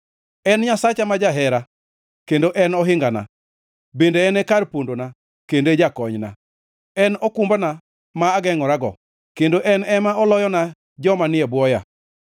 En Nyasacha ma jahera kendo en ohingana, bende en kar pondona kendo en jakonyna. En okumbana ma agengʼorago, kendo en ema oloyona joma ni e bwoya.